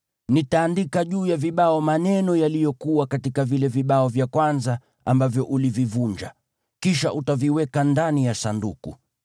Nitaandika juu ya vibao maneno yaliyokuwa katika vile vibao vya kwanza, ambavyo ulivivunja. Kisha utaviweka ndani ya Sanduku.”